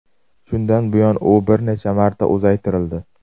Shundan buyon u bir necha marta uzaytirildi.